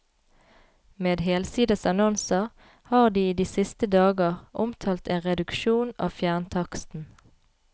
Med helsides annonser har de i de siste dager omtalt en reduksjon av fjerntaksten.